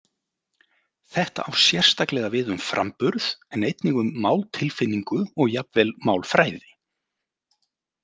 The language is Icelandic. Þetta á sérstaklega við um framburð en einnig um máltilfinningu og jafnvel málfræði.